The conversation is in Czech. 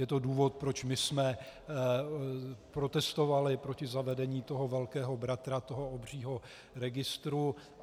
Je to důvod, proč my jsme protestovali proti zavedení toho velkého bratra, toho obřího registru.